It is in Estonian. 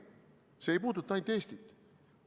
See ei puuduta ainult Eestit.